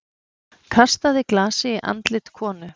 Kastaði glasi í andlit konu